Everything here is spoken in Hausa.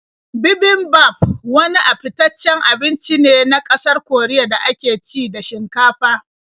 Bibimbap wani fitaccen abinci ne na ƙasar Koriya da ake ci da shinkafa.